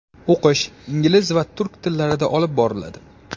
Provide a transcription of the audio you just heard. O‘qish ingliz va turk tillarida olib boriladi.